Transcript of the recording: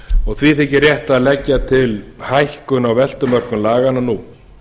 og því þykir rétt að leggja til hækkun á veltumörkum laganna nú